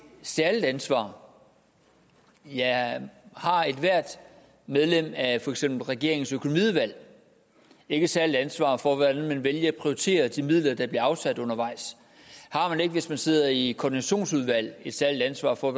særligt ansvar ja har ethvert medlem af for eksempel regeringens økonomiudvalg ikke et særligt ansvar for hvordan man vælger at prioritere de midler der bliver afsat undervejs har man ikke hvis man sidder i koordinationsudvalget et særligt ansvar for